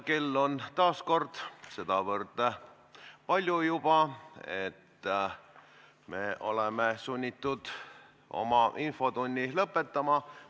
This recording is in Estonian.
Kell on juba nii palju, et me oleme sunnitud infotunni lõpetama.